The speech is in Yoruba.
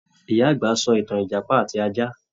Ìyá àgbà ṣọ́ ìtàn Ìjàpá àti ajá